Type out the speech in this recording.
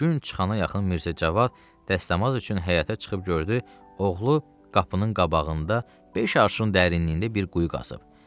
Gün çıxana yaxın Mirzəcavad dəstəmaz üçün həyətə çıxıb gördü, oğlu qapının qabağında beş arşın dərinliyində bir quyu qazıb.